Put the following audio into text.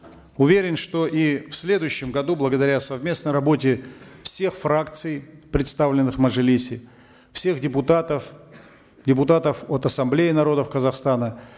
уверен что и в следующем году благодаря совместной работе всех фракций представленных в мажилисе всех депутатов депутатов от ассамблеи народа казахстана